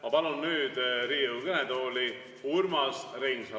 Ma palun nüüd Riigikogu kõnetooli Urmas Reinsalu.